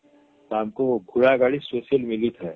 ତାଙ୍କୁ ଘୋଡା ଗାଡିSpecial ମିଲି ଥାଏ